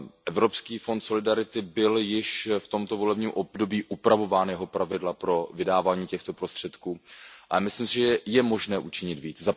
Evropský fond solidarity byl již v tomto volebním období upravován, jeho pravidla pro vydávání těchto prostředků, ale myslím si, že je možné učinit více.